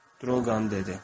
Droqan dedi.